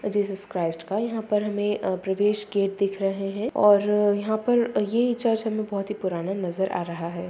Jesus Christ का यहाँ पर हमें अ प्रवेश गेट दिख रहे है और यहाँ पर ये चर्च हमें बहुत ही पुराना नजर आ रहा है।